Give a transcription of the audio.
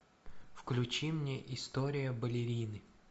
включи мне история балерины